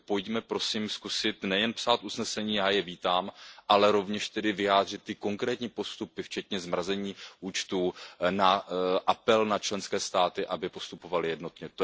Takže pojďme prosím zkusit nejen psát usnesení, já je vítám, ale rovněž tedy vyjádřit ty konkrétní postupy, včetně zmrazení účtů, apelu na členské státy, aby postupovaly jednotně.